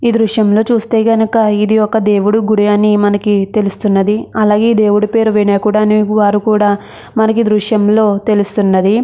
ఈ దృశ్యంలో చూస్తే కనుక ఇది ఒక దేవుడి గుడి అని మనకి తెలుస్తున్నది. అలాగే దేవుడి పేరు వినాయకుడు అనే వారు కూడా మనకి దృశ్యంలో తెలుస్తున్నది.